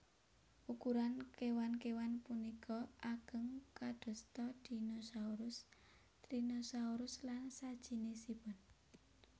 Ukuran kéwan kéwan punika ageng kadosta dinosaurus tyranosaurus lan sajinisipun